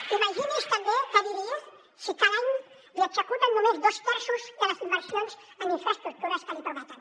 i imagini’s també què diria si cada any li executen només dos terços de les inversions en infraestructures que li prometen